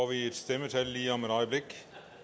vi stemmetallene lige om et øjeblik